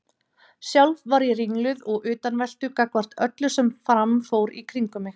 Sjálf var ég ringluð og utanveltu gagnvart öllu sem fram fór í kringum mig.